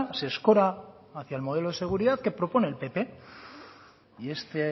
se escora hacía el modelo de seguridad que propone el pp y este